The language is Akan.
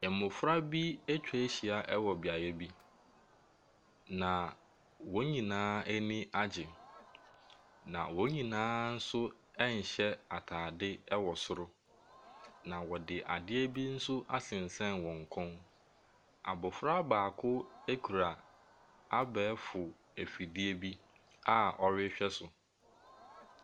Mmɔfra bi atwa ahyia wɔ beaeɛ bi, na wɔn nyinaa ani agye, na wɔn nyinaa nso nhyɛ atade wɔ soro, na wɔde adeɛ bi nso asensɛn wɔn kɔn mu. Abɔfra baako kura abɛɛfo afidie bi a ɔrehwɛ so.